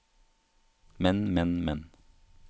men men men